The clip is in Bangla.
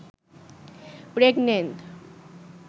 প্রেগনেন্ট